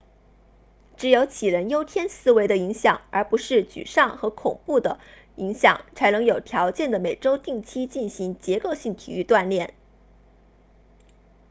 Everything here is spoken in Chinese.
只有杞人忧天思维的影响而不是沮丧和恐惧的影响才能有条件地每周定期进行结构性体育锻炼